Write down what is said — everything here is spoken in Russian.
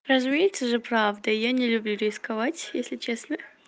разумеется же правда и я не люблю рисковать если честно